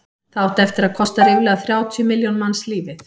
það átti eftir að kosta ríflega þrjátíu milljón manns lífið